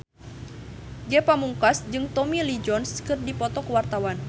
Ge Pamungkas jeung Tommy Lee Jones keur dipoto ku wartawan